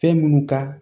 Fɛn minnu ka